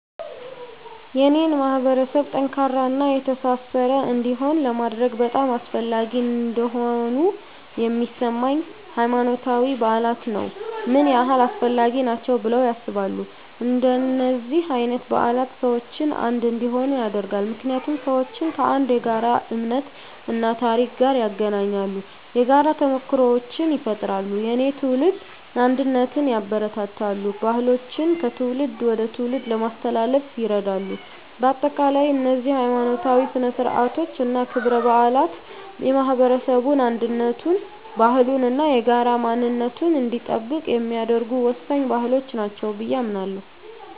የኔን ማህበረሰብ ጠንካራና የተሳሰረ እንዲሆን ለማድረግ በጣም አስፈላጊ እንደሆኑ የሚሰማኝ፦ ** ሃይማኖታዊ በዓላት ነው **ምን ያህል አስፈላጊ ናቸው ብለው ያስባሉ? እንደነዚህ አይነት በዓላት ሰዎችን አንድ እንዲሆኑ ያደርጋሉ። ምክንያቱም ሰዎችን ከአንድ የጋራ እምነት እና ታሪክ ጋር ያገናኛሉ። የጋራ ተሞክሮዎችን ይፈጥራሉ፣ የትውልድ አንድነትን ያበረታታሉ፣ ባህሎችን ከትውልድ ወደ ትውልድ ለማስተላለፍ ይረዳሉ። በአጠቃላይ፣ እነዚህ ሀይማኖታዊ ሥነ ሥርዓቶች እና ክብረ በዓላት የማህበረሰቡን አንድነቱን፣ ባህሉን እና የጋራ ማንነቱን እንዲጠብቅ የሚያደርጉ ወሳኝ ባህሎች ናቸው ብየ አምናለሁ።